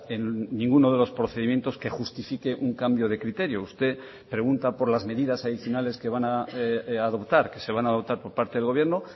en ninguno de los procedimientos que justifique un cambio de criterio usted pregunta por las medidas adicionales que van a adoptar que se van a adoptar por parte del gobierno